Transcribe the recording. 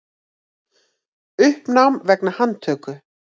Uppnám vegna handtöku